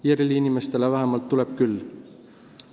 IRL-i inimestele vähemalt küll.